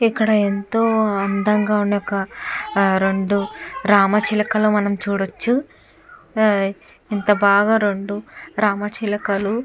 ఇక్కడ ఎంతో అందంగా ఉండే రెండు రామ చిలకలు మనం చూడచ్చు ఇంత బాగా రెండు రామ చిలకలు.